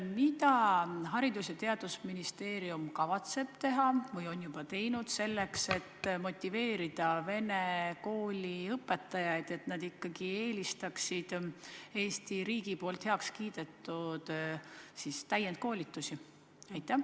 Mida Haridus- ja Teadusministeerium kavatseb teha või on juba teinud selleks, et motiveerida vene koolide õpetajaid, et nad ikkagi eelistaksid Eesti riigis heaks kiidetud täienduskoolitusi?